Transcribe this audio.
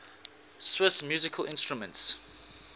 swiss musical instruments